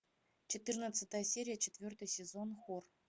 четырнадцатая серия четвертый сезон хор